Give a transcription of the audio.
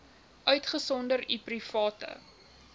uitgesonderd u private